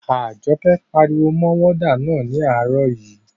Àjọkẹ́ pariwo mọ wọ́dà náà ní àárọ̀ yii